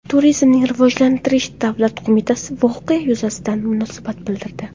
Turizmni rivojlantirish davlat qo‘mitasi voqea yuzasidan munosabat bildirdi .